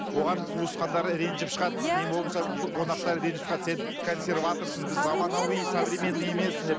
оған туысқандары ренжіп шығады не болмаса қонақтары ренжіп шығады сен консерваторсың емессің деп